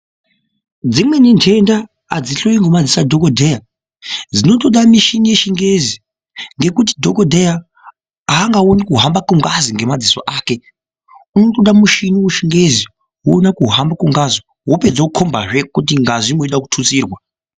Dzimweni nhenda adzihloyiwi ngedziso adhokodheya dzinotoda michini yechingezi ngekuti dhokodheya aangaoni kuhamba kwengazi ngemadziso ake. Unotoda mushini wechingezi kuona kuhamba kwengazi wopedza wokhombazve kuti ngazi yeida kututsirwa.